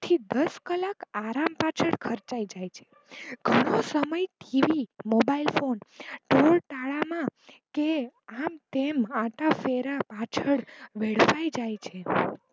દસ કલાક આરામ પાછળ ખર્ચાય જ છે ઘણો સમય ટીવી, મોબાઈલ ફોન ટોળ તાળા માં કે આમ તેમ આટા ફેરા પાછળ વેડફાય જાય છે.